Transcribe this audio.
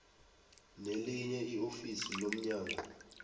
nelinye iofisi lomnyango